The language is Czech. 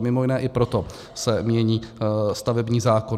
A mimo jiné i proto se mění stavební zákon.